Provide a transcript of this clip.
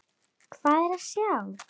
Hvað er að sjá